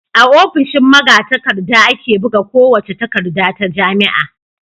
A ofishin magatakarda ake buga kowace takarda ta jami'a.